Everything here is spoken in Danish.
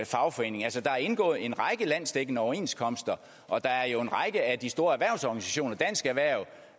fagforening altså der er indgået en række landsdækkende overenskomster og der er jo en række af de store erhvervsorganisationer dansk erhverv